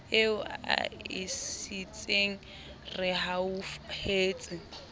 eo a e sietseng rehauhetswe